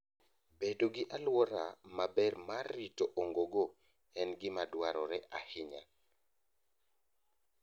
Bedo gi alwora maber mar rito ongogo en gima dwarore ahinya.